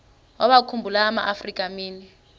wawakhumbul amaafrika mini